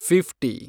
fifty